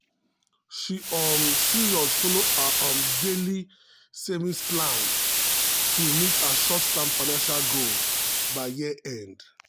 she um serious follow her um daily um savings plan to meet her short-term financial goals by year-end.